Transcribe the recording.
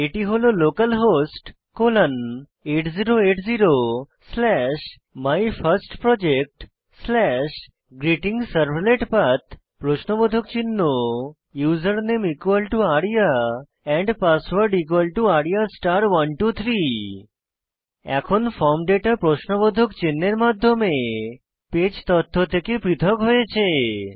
এটি হল localhost colon 8080 slash my first project slash greeting servlet path প্রশ্নবোধক চিহ্ন ইউজারনেম আরিয়া পাসওয়ার্ড আরিয়া 123 এখন ফর্ম ডেটা প্রশ্নবোধক চিন্হের মাধ্যমে পেজ তথ্য থেকে পৃথক হয়েছে